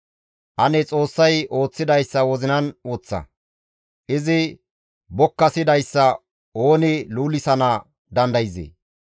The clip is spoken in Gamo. Ane Xoossay ooththidayssa wozinan woththa! Izi bokkasidayssa ooni luulisana dandayzee?